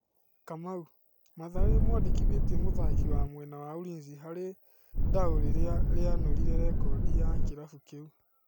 Kamau: Mathare nĩĩmwandĩkithĩtie mũthaki wa mwena wa Ulinzi harĩ ndaũ rĩrĩa rĩanure rekodi ya kĩrabu kĩu.